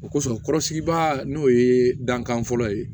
O kosɔn kɔrɔsigibaa n'o ye dankan fɔlɔ ye